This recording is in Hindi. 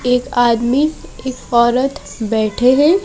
एक आदमी एक औरत बैठे हैं।